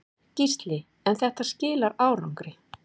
Gísli: En þetta skilar árangri?